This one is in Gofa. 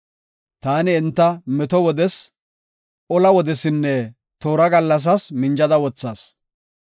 Taani enta meto wodes, ola wodesinne toora gallasas minja wothas.